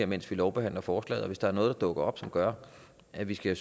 mens vi lovbehandler forslaget og hvis der er noget der dukker op der gør at vi skal